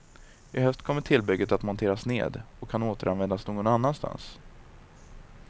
I höst kommer tillbygget att monteras ned, och kan återanvändas någon annanstans.